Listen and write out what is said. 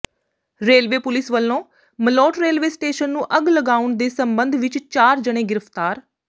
railway police ਵਲੋਂ Malout railway station ਨੂੰ ਅੱਗ ਲਗਾਉਣ ਦੇ ਸਬੰਧ ਵਿਚ ਚਾਰ ਜਣੇ ਗਿ੍ਫ਼ਤਾਰ